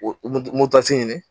O moto ta ɲini